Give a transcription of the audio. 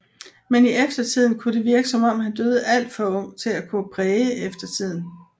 Men i eftertiden kunne det virke som om han døde alt for ung til at kunne præge eftertiden